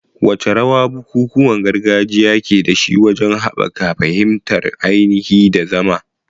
Wace rawa bukukuwan gargajiya ke da shi wajen haɓaka fahimtar ainihi da zama?